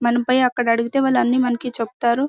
మనం పోయి అక్కడ అడిగితే వాళ్ళు అన్ని మనకి చెప్తారు.